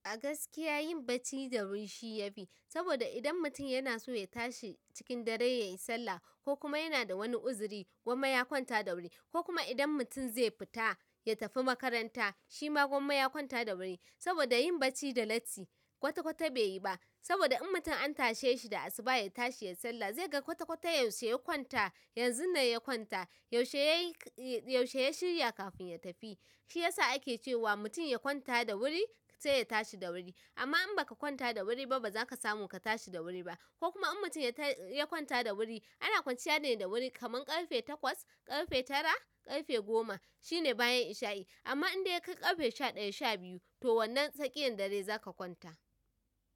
A gaskiya yin bacci da wuri shi ya fi, saboda idan mutum yana so ya tashi cikin dare ya yi sallah ko kuma yana da wani uzuri, gwamma ya kwanta da wuri. Ko kuma idan mutum zai fita ya tafi makaranta, shi ma gwamma ya kwanta da wuri. Saboda yin bacci da latti kwata-kwata bai yi ba. Saboda in mutum an tashe shi da asuba ya tashi ya sallah, zai ga kwata-kwata yaushe ya kwanta, yanzu nan ya kwanta, yaushe ya shirya kafin ya tafi. Shi ya sa ake cewa mutum ya kwanta da wuri sai ya tashi da wuri. Amma in baka kwanta da wuri ba, ba za ka samu ka tashi da wuri ba. Ko kuma in mutum ya kwanta da wuri, ana kwanciya ne da wuri kaman ƙarfe takwas, ƙarfe tara, ƙarfe goma, shine bayan isha'i. Amma in dai ka yi ƙarfe sha ɗaya, sha biyu, to wannan tsakiyan dare za ka kwanta.